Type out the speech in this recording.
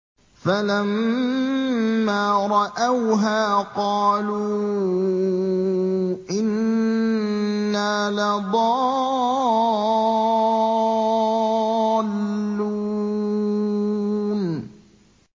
فَلَمَّا رَأَوْهَا قَالُوا إِنَّا لَضَالُّونَ